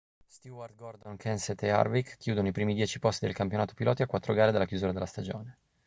stewart gordon kenseth e harvick chiudono i primi dieci posti del campionato piloti a quattro gare dalla chiusura della stagione